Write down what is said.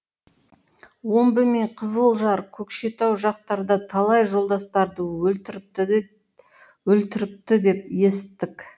омбы мен қызылжар көкшетау жақтарда талай жолдастарды өлтіріпті деп есіттік